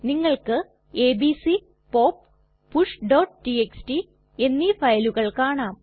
നിങ്ങൾക്ക് ABC pop pushടിഎക്സ്ടി എന്നീ ഫയലുകൾ കാണാം